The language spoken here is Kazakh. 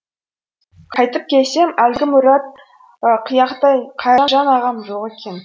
қайтіп келсем әлгі мұрты қияқтай қайыржан ағам жоқ екен